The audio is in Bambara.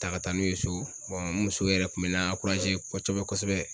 Ta ka taa n'u ye so muso yɛrɛ kun bɛ ne kosɛbɛ kosɛbɛ